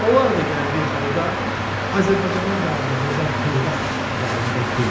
Lap onlar da gəldiyi halda Azərbaycanın qabağında durmaq iqtidarında deyil.